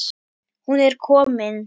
Hún er komin